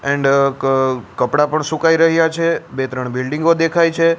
And કપડાં પણ સુકાઈ રહ્યા છે બે ત્રણ બિલ્ડિંગો દેખાય છે.